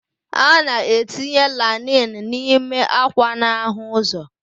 A na-etinye lainin n'ime ákwà n'ahụ ụzọ.